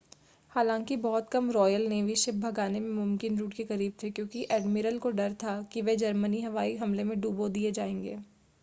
हालांकि बहुत कम रॉयल नेवी शिप भागने के मुमकिन रूट के करीब थे क्योंकि एडमिरल को डर था कि वे जर्मनी हवाई हमले में डुबो दिए जाएंगे